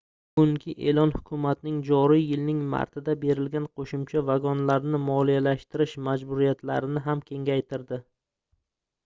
bugungi eʼlon hukumatning joriy yilning martida berilgan qoʻshimcha vagonlarni moliyalashtirish majburiyatlarini ham kengaytirdi